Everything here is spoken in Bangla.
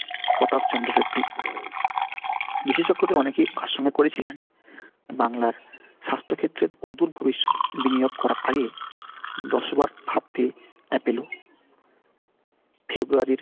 প্রতাপচন্দ্র রেড্ডি বিশেষজ্ঞদের অনেকে আশঙ্কা করেছিলেন বাংলার স্বাস্থ্য ক্ষেত্রের অদূর ভবিষ্যৎ বিনিয়োগ করার আগে দশ বার ভাববে Apollo February র